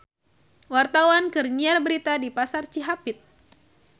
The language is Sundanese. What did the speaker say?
Wartawan keur nyiar berita di Pasar Cihapit